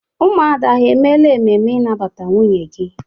Ụmụada ha emela ememe ịnabata nwunye gi?